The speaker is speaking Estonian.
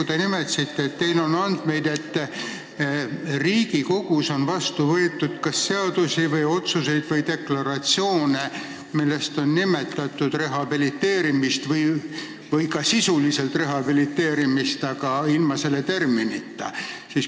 Te nimetasite, et teil on andmeid, et Riigikogus on vastu võetud kas seadusi või otsuseid või deklaratsioone, milles on nimetatud rehabiliteerimist või ka sisuliselt rehabiliteerimist, aga ilma selle terminita.